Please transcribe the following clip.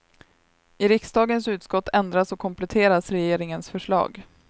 I riksdagens utskott ändras och kompletteras regeringens förslag.